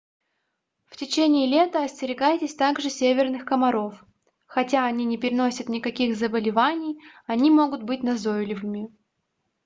в течении лета остерегайтесь также северных комаров хотя они не переносят никаких заболеваний они могут быть назойливыми